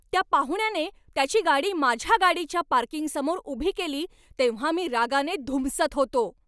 त्या पाहुण्याने त्याची गाडी माझ्या गाडीच्या पार्किंगसमोर उभी केली तेव्हा मी रागाने धुमसत होतो.